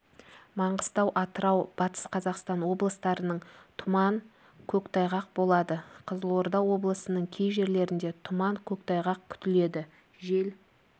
маңғыстау атырау батыс қазақстан облыстарының тұман көктайғақ болады қызылорда облысының кей жерлерінде тұман көктайғақ күтіледі жел